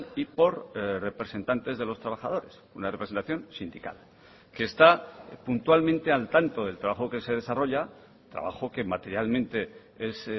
y por representantes de los trabajadores una representación sindical que está puntualmente al tanto del trabajo que se desarrolla trabajo que materialmente es